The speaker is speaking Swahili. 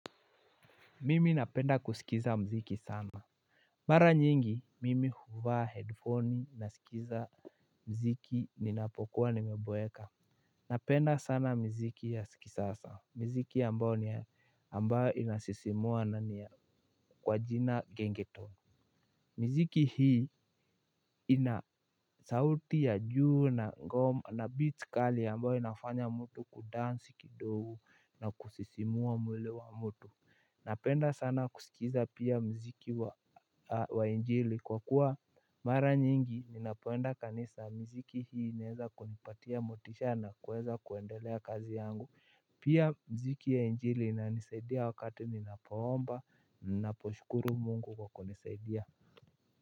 Mimi napenda kusikiza mziki sana. Mara nyingi mimi huvaa headphone nasikiza mziki ninapokuwa nimeboeka. Napenda sana mziki ya kisasa mziki ambao inasisimua na ni kwa jina gengetoni. Mziki hii inasauti ya juu na ngoma na beat kali ambao inafanya mtu kudansi kidogo na kusisimua mwili wa mtu. Napenda sana kusikiza pia mziki wa injili kwa kuwa mara nyingi ninapoenda kanisa mziki hii inaeza kunipatia motisha na kuweza kuendelea kazi yangu. Pia mziki ya injili inanisaidia wakati ninapoomba ninaposhukuru mungu kwa kunisaidia.